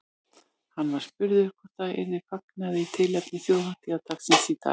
Hann var spurður hvort það yrði fagnað í tilefni þjóðhátíðardagsins í dag.